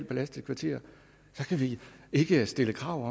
belastet kvarter skal vi ikke stille krav